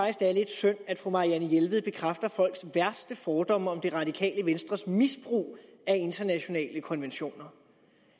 at det er lidt synd at fru marianne jelved bekræfter folks værste fordomme om det radikale venstres misbrug af internationale konventioner